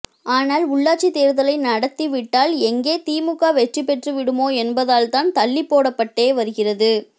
ஆனால் உள்ளாட்சி தேர்தலை நடத்திவிட்டால் எங்கே திமுக வெற்றி பெற்றுவிடுமோ என்பதால்தான் தள்ளிப்போடப்பட்டே வருகிறது